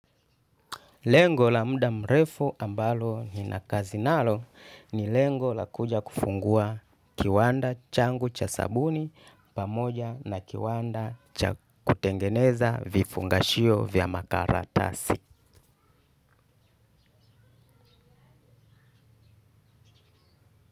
Lengo la mda mrefu ambalo ni nakazi nalo ni lengo la kuja kufungua kiwanda changu cha sabuni pamoja na kiwanda cha kutengeneza vifungashio vya makaratasi.